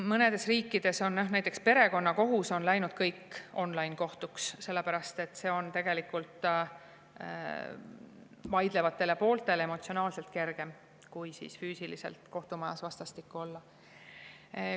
Mõnedes riikides on näiteks kogu perekonnakohus läinud on-line-kohtuks, sellepärast et see on tegelikult vaidlevatele pooltele emotsionaalselt kergem, kui füüsiliselt kohtumajas vastastikku olla.